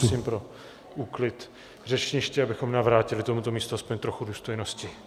Prosím o úklid řečniště, abychom navrátili tomuto místu aspoň trochu důstojnosti.